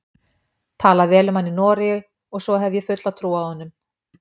Talað vel um hann í Noregi og svo hef ég fulla trú á honum.